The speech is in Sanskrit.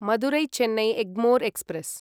मदुरै चेन्नै एग्मोर् एक्स्प्रेस्